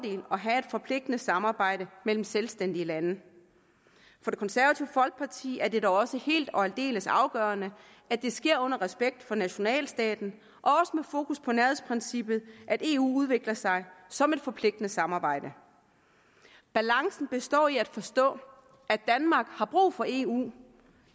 have et forpligtende samarbejde mellem selvstændige lande for det konservative folkeparti er det da også helt og aldeles afgørende at det sker under respekt for nationalstaten og med fokus på nærhedsprincippet at eu udvikler sig som et forpligtende samarbejde balancen består i at forstå at danmark har brug for eu